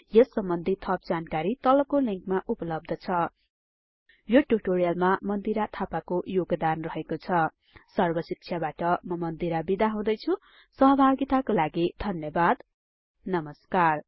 यस सम्बन्धि थप जानकारी तलको लिंकमा उपलब्ध छ यो ट्युटोरियलमा मन्दिरा थापाको योगदान रहेको छ सर्ब शिक्षाबाट म मन्दिरा बिदा हुदैछुँ सहभागीतको लागि धन्यबाद नमस्कार